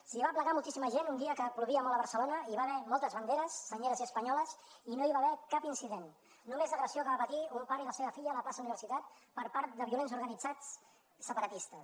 s’hi va aplegar moltíssima gent un dia que plovia molt a barcelona i hi va haver moltes banderes senyeres i espanyoles i no hi va haver cap incident només l’agressió que van patir un pare i la seva filla a la plaça universitat per part de violents organitzats separatistes